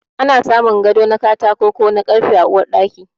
Ana samun gado na katako ko na karfe a Uwar Ɗaki.